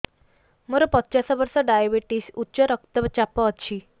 ମୋର ପଚାଶ ବର୍ଷ ଡାଏବେଟିସ ଉଚ୍ଚ ରକ୍ତ ଚାପ ଅଛି